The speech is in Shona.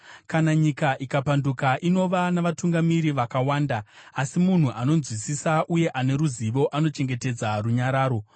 Kana nyika ikapanduka, inova navatungamiri vakawanda, asi munhu anonzwisisa uye ane ruzivo anochengetedza runyararo.